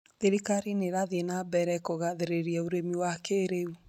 Thirikari nĩ ĩrathiĩ na mbere kũgathĩrĩria ũrĩmi wa kĩĩrĩu